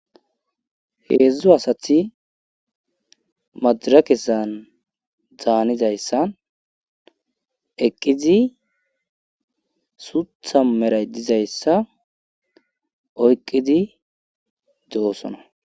heedzdzu asati madira kessan daanizayssan eqqizi suutha meray dizayssa oyqqidi doosona